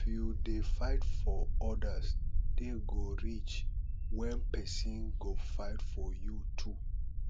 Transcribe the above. if you dey fight for odas day go reach when pesin go fight for you too